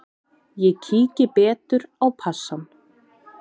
Ég kíki betur á passann.